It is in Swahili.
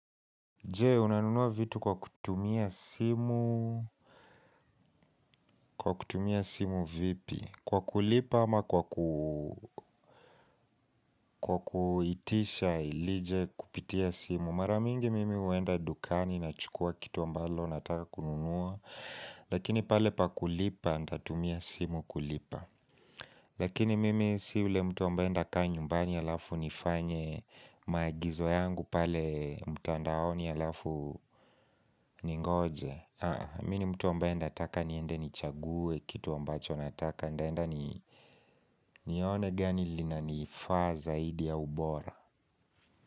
Je, unanunua vitu kwa kutumia simu, kwa kutumia simu vipi, kwa kulipa ama kwa kuitisha ilije kupitia simu Maramingi mimi huenda dukani na chukua kitu ambalo nataka kununua, lakini pale pakulipa nitatumia simu kulipa Lakini mimi si yule mtu ambaye nitakaa nyumbani halafu nifanye maagizo yangu pale mtandaoni halafu ningoje Mimi nii mtu ambaye nataka niende ni chague kitu ambacho nataka Nitaenda nione gani lina ni faa zaidi au bora.